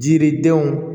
Jiridenw